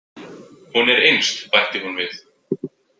Hún er innst, bætti hún við.